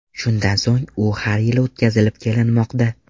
Shundan so‘ng u har yili o‘tkazilib kelinmoqda.